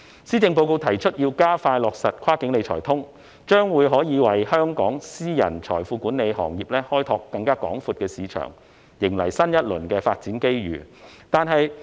施政報告提出要加快落實"跨境理財通"，這將可以為香港私人財富管理行業開拓更廣闊的市場，迎來新一輪發展機遇。